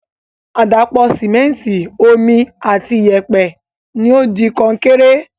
Àdàpọ̀ Sìmẹ́ntìì, Omi ati iyẹ̀pẹ̀ ni o di Kọnkéré